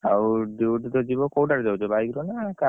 ଆଉ duty ତ ଜୀବ କୋଉଟାରେ ଯାଉଛ? bike ର ନା car ର